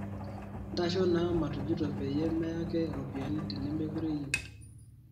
ntosho naa matujuto peyie meyake ropiyani tenemekure iyieu